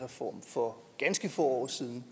for ganske få år siden